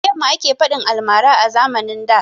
Da yamma ake faɗin almara a zamanin da